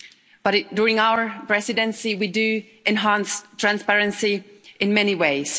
But during our Presidency, we are enhancing transparency in many ways.